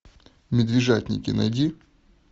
медвежатники найди